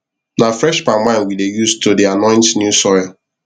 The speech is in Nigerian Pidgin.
na fresh palm wine we dey use to dey anoint new soil